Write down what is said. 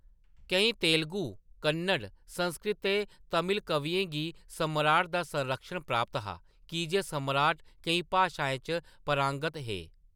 केईं तेलुगु, कन्नड़, संस्कृत ते तमिल कवियें गी सम्राट दा संरक्षण प्राप्त हा, की जे सम्राट केईं भाशाएं च पारंगत हे।